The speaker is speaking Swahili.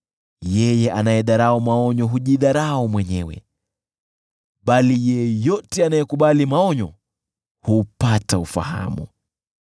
Yeye anayedharau maonyo hujidharau mwenyewe, bali yeyote anayekubali maonyo hupata ufahamu.